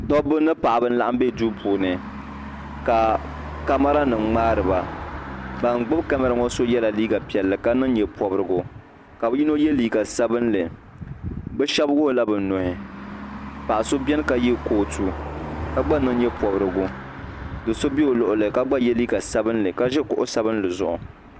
Dobba mini paɣaba n laɣim be duu puuni ka kamara ŋmaari ba ban gbibi kamara nima ŋɔ yela liiga piɛllli ka niŋ nyɛpobrigu ka bɛ yino ye liiga sabinli bɛ sheba wuɣila bɛ nuhi paɣa so biɛni ka ye kootu ka gba niŋ nyɛpobrigu do'so be o luɣuli ka gba ye liiga sabinli ka ʒi kuɣu sabinli ziɣu.